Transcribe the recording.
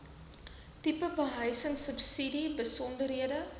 tipe behuisingsubsidie besonderhede